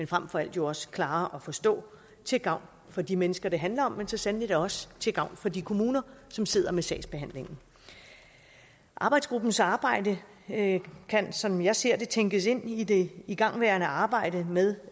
frem for alt også klare at forstå til gavn for de mennesker det handler om men så sandelig da også til gavn for de kommuner som sidder med sagsbehandlingen arbejdsgruppens arbejde kan som jeg ser det tænkes ind i det igangværende arbejde med